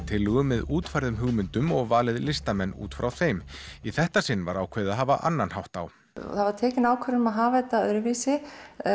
tillögum með útfærðum hugmyndum og valið listamann út frá þeim í þetta sinn var ákveðið að hafa annan hátt á það var tekin ákvörðun um að hafa þetta öðruvísi